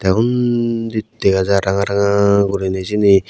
undi dega jar ranga ranga guriney syeni.